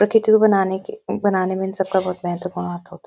प्रकृति को बनाने के बनाने में इन सब का बहुत महत्वपूर्ण हाथ होता है।